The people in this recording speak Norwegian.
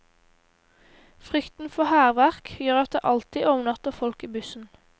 Frykten for hærverk gjør at det alltid overnatter folk i bussen.